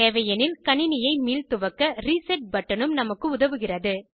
தேவையெனில் கணினியை மீள்துவக்க ரீசெட் பட்டனும் நமக்கு உதவுகிறது